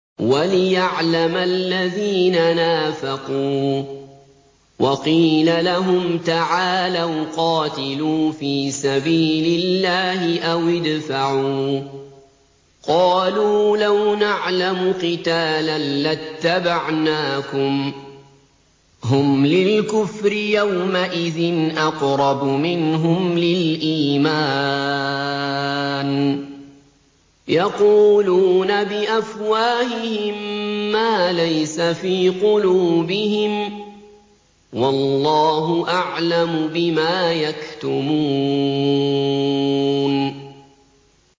وَلِيَعْلَمَ الَّذِينَ نَافَقُوا ۚ وَقِيلَ لَهُمْ تَعَالَوْا قَاتِلُوا فِي سَبِيلِ اللَّهِ أَوِ ادْفَعُوا ۖ قَالُوا لَوْ نَعْلَمُ قِتَالًا لَّاتَّبَعْنَاكُمْ ۗ هُمْ لِلْكُفْرِ يَوْمَئِذٍ أَقْرَبُ مِنْهُمْ لِلْإِيمَانِ ۚ يَقُولُونَ بِأَفْوَاهِهِم مَّا لَيْسَ فِي قُلُوبِهِمْ ۗ وَاللَّهُ أَعْلَمُ بِمَا يَكْتُمُونَ